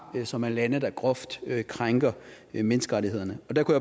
som er lande der groft krænker menneskerettighederne der kunne